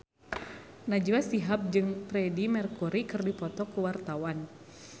Najwa Shihab jeung Freedie Mercury keur dipoto ku wartawan